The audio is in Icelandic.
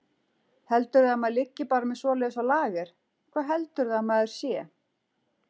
Heldurðu að maður liggi bara með svoleiðis á lager. hvað heldurðu að maður sé!